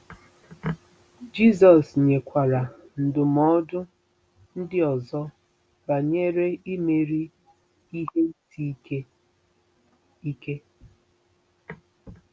Jizọs nyekwara ndụmọdụ ndị ọzọ banyere imeri ihe isi ike. ike.